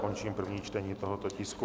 Končím první čtení tohoto tisku.